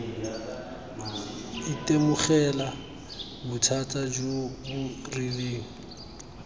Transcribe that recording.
itemogela bothata jo bo rileng